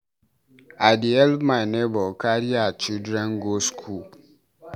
I dey help my nebor carry her children go school.